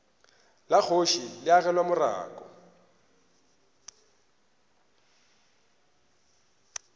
la kgoši le agelwa morako